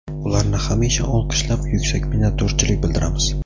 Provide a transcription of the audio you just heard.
Ularni hamisha olqishlab, yuksak minnatdorchilik bildiramiz.